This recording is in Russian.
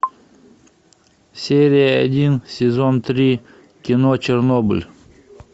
серия один сезон три кино чернобыль